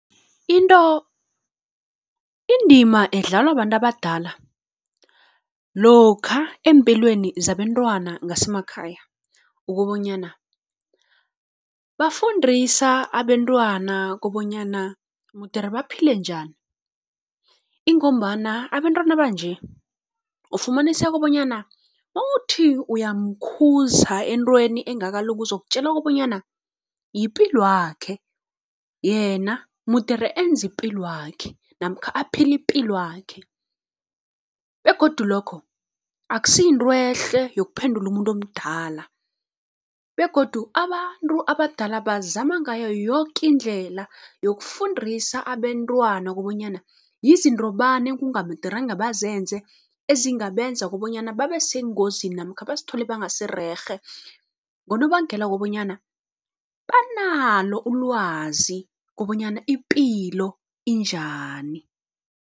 indima edlalwa babantu abadala lokha eempilweni zabentwana ngasemakhaya, ukobonyana bafundisa abentwana kobonyana mudere baphile njani. Ingombana abentwana banje ufumaniseka bonyana nowuthi uyamkhuza entweni engakalungi, uzokutjela okobonyana yipilwakhe yena mudere enze ipilwakhe namkha aphile ipilwakhe. Begodu lokho akusi yinto ehle yokuphendula umuntu omdala begodu abantu abadala bazama ngayo yoke indlela yokufundisa abentwana, kobonyana yizinto bani ekungamederanga bazenze ezingabenza kobonyana babe sengozini namkha bazithole bangasi rerhe, ngonobangela wokobonyana banalo ulwazi kobonyana ipilo injani.